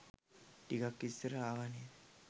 ටිකක් ඉස්සර ආවා නේද?